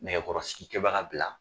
Nɛgɛkɔrɔsigikɛbaga bila